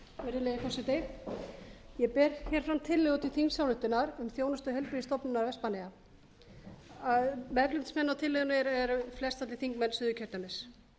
virðulegi forseti ég ber hér fram tillögu til þingsályktunar um þjónustu heilbrigðisstofnunar vestmannaeyja meðflutningsmenn að tillögunni eru flestallir þingmenn suðurkjördæmis